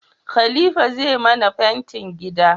Khalifa zai mana fentin gida